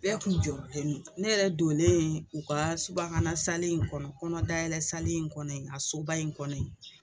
Bɛɛ kun jɔrɔ nen don ne yɛrɛ donlen u ka subahana sali in kɔnɔ kɔnɔdayɛlɛ sali in kɔnɔ a soba in kɔnɔ yen